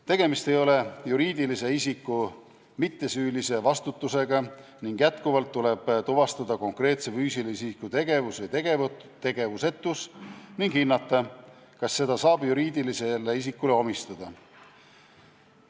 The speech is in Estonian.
Tegemist ei ole juriidilise isiku mittesüülise vastutusega ning jätkuvalt tuleb tuvastada konkreetse füüsilise isiku tegevus või tegevusetus ning hinnata, kas seda saab juriidilisele isikule omistada.